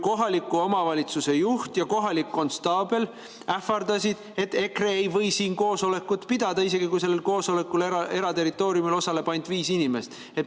Kohaliku omavalitsuse juht ja kohalik konstaabel ähvardasid, et EKRE ei või siin koosolekut pidada, isegi kui sellel koosolekul eraterritooriumil osaleb ainult viis inimest.